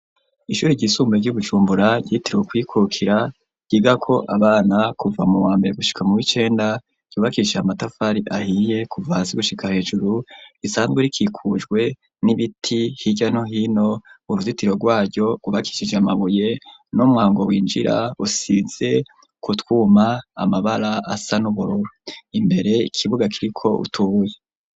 Ishuri ry'isumbure ryi Bujumbura ryitiriwe kwikukira ryigako abana kuva mu wambere gushika mu w'icenda ryubakishije amatafari ahiye kuva hasi gushika hejuru risanzwe rikikujwe n'ibiti hirya no hino uruzitiro rwayo rwubakishije amabuye n'umwango winjira usize ku twuma amabara asa n'ubururu imbere ikibuga kiriko utubuye.